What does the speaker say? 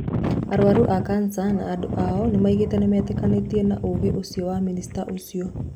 Arwaru aa cancer na andũ ao nimaugite nitikenetio na uugi ucio wa minister ucio.